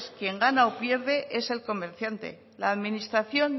quien gana o pierde es el comerciante la administración